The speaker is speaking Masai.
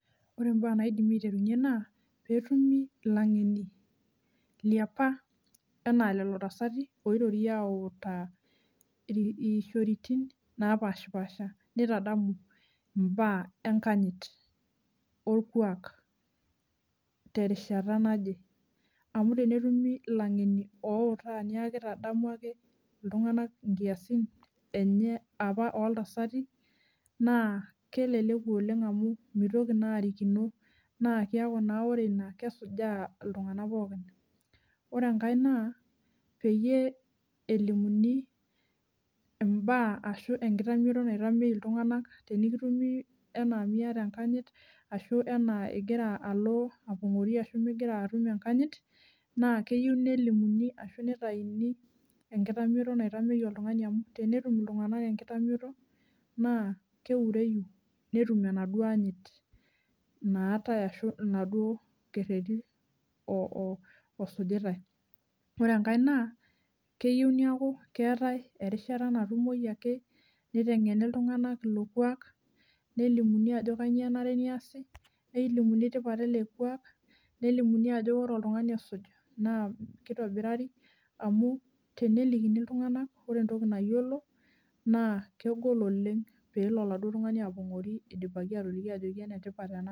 Ore imbaa naidimi aiterunyie naa petumi ilangeni liapa enaa lelo tasati , oirorie autaa iishoritin napashpasha nitaamu imbaa enkanyit orkwak terishata naje amu tenetumi ilangeni outaa niaku kitadamu ake iltunganak nkiasin enye apa oltasati naa keleleku oleng amu mitoki naa arikino naa kiaku naa ore ina kesujaa iltunganak pookin . Ore enkae naa peyie elimuni imbaa ashu enkitamioto naitamei iltunganak tenikitumi anaa miata enkanyit ashu enaa ingira alo apongori ashu mingira atum enkanyit naa keyieu nelimuni ashu nitayuni enkitamioto naitemei oltungani amu tenetum iltunganak enkitamioto naa keureyu netum enaduo anyit naatae ashu inaduo kereti oo osujitae. Ore enkae naa keyieu niaku keetae erishata natumoi ake nitengeni iltunganak ilo kwak nelimuni ajo kainyio enare niasi , nelimuni tipat ele kwak , nelimuni ajo ore oltungani osuj naa kitobirari amu tenelikini iltunganak , ore entoki nayiolo naa kegol oleng pelo oladuo tungani apongori , idipaki ataloki ajo enetipat ena.